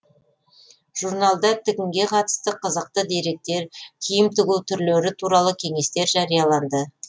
журналда тігінге қатысты қызықты деректер киім тігу түрлері туралы кеңестер жарияланды